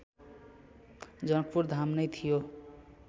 जनकपुरधाम नै थियो